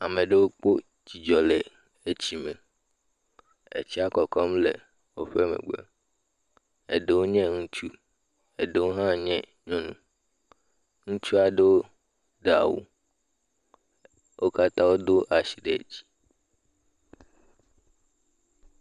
ameɖewo kpo dzidzɔ le etsime etsia kɔkɔm le wóƒe megbe eɖewo nye ŋutsu eɖewo hã nye nyɔnu ŋutsuaɖowo ɖe'wu wó katã wodó asi ɖe dzi